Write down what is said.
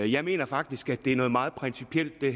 jeg mener faktisk at det her er noget meget principielt og